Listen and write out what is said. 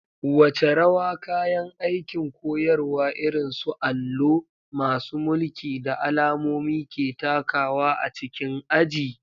Wace rawa kayan aikin koyarwa irin su allo, masu mulki, da alamomi ke takawa a cikin aji?